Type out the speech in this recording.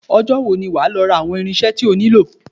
Ọjọ́ wo ni wà á lọ ra àwọn irinṣẹ́ tí o nílò?